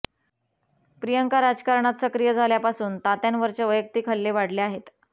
प्रियंका राजकारणात सक्रिय झाल्यापासून त्यांत्यावरचे वैयक्तिक हल्ले वाढले आहेत